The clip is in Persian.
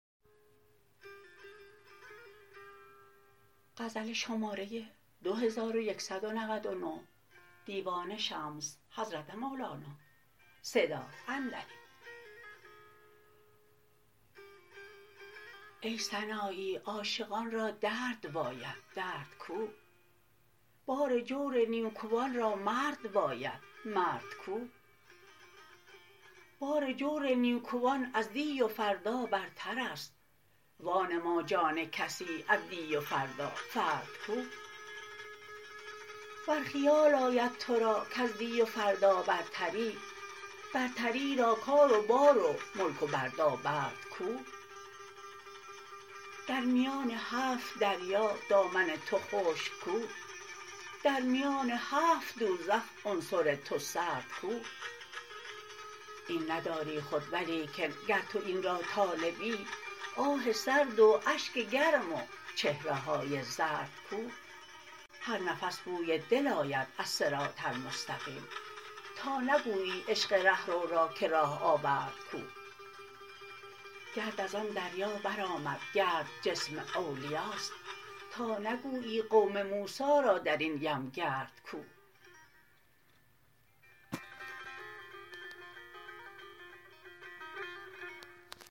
ای سنایی عاشقان را درد باید درد کو بار جور نیکوان را مرد باید مرد کو بار جور نیکوان از دی و فردا برتر است وانما جان کسی از دی و فردا فرد کو ور خیال آید تو را کز دی و فردا برتری برتری را کار و بار و ملک و بردابرد کو در میان هفت دریا دامن تو خشک کو در میان هفت دوزخ عنصر تو سرد کو این نداری خود ولیکن گر تو این را طالبی آه سرد و اشک گرم و چهره های زرد کو هر نفس بوی دل آید از صراط المستقیم تا نگویی عشق ره رو را که راه آورد کو گرد از آن دریا برآمد گرد جسم اولیاست تا نگویی قوم موسی را در این یم گرد کو